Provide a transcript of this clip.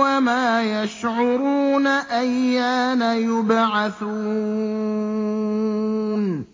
وَمَا يَشْعُرُونَ أَيَّانَ يُبْعَثُونَ